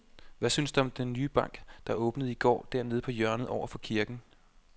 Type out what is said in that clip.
Hvad synes du om den nye bank, der åbnede i går dernede på hjørnet over for kirken?